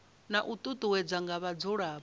na u ṱuṱuwedzwa nga vhadzulapo